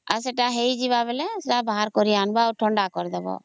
ଆଉ ସେଟ ହେଇଜିବ ହେଲା ବାହାରକରି ଆଣିବା ଆଉ ଥଣ୍ଡା କରିଦେବା